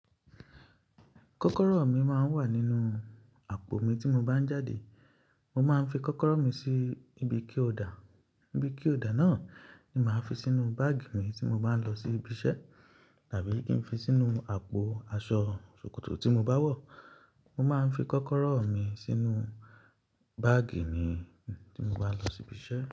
Kọ́kọ́rọ́ mi máa ń wà nínú àpò mi tí mo bá ń jáde. Mo máa ń fi kọ́kọ́rọ́ mi sí ibi key holder. Ibi key holder náà ni màá fi sínú báàgì mi tí mo bá ń lọ sí ibi iṣẹ́ tàbí kí n fi sínú àpò aṣọ sòkòtò tí mo bá wọ̀. Mo máa ń fi kọ́kọ́rọ́ mi sínú báàgì mi tí mo bá ń lọ sí ibi iṣẹ́.